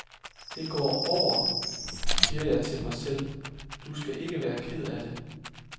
Det går over, siger jeg til mig selv, du skal ikke være ked af det.